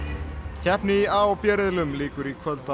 keppni í a og b riðlum lýkur í kvöld á